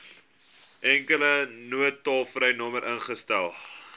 enkele noodtolvrynommer ingestel